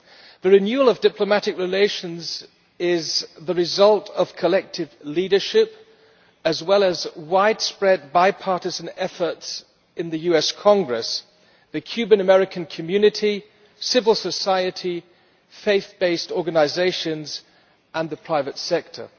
The renewal of diplomatic relations is the result of collective leadership, as well as of widespread bipartisan efforts in the US Congress, the Cuban American community, civil society, faith based organisations and the private sector.